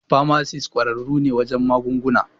Famasis ƙwararru ne wajen magunguna.